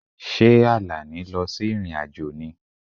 Ṣé Àlàní lọ sí ìrìn-àjò ni?